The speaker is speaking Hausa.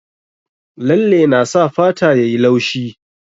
Lalle na sa fata yayi laushi